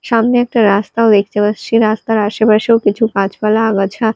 সামনে একটা রাস্তাও দেখতে পারছি রাস্তাও আসেপাশেও কিছু গাছপালা আগাছা--